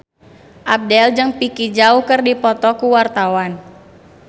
Abdel jeung Vicki Zao keur dipoto ku wartawan